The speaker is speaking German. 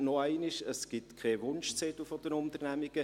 Noch einmal: Es gibt keine Wunschzettel der Unternehmungen.